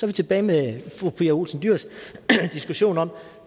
vi tilbage ved fru pia olsen dyhrs diskussion om